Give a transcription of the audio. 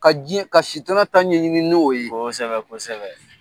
Ka diɲɛ, ka sitana ta ɲɛɲini n'o ye, kosɛbɛ kosɛbɛ.